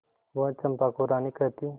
वह चंपा को रानी कहती